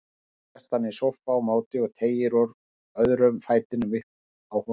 Sjálfur sest hann í sófa á móti og teygir úr öðrum fætinum uppi á honum.